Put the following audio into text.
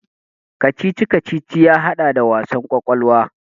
Kacici-kacici ya haɗa da wasan kwakwalwa.